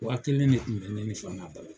Wa kelen de kun bɛ ne ni fan balo.